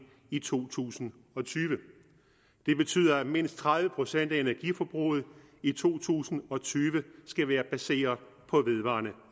i to tusind og tyve det betyder at mindst tredive procent af energiforbruget i to tusind og tyve skal være baseret på vedvarende